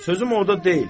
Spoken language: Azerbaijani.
Sözüm orda deyil.